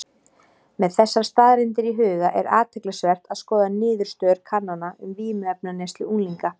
Með þessar staðreyndir í huga er athyglisvert að skoða niðurstöður kannana um vímuefnaneyslu unglinga.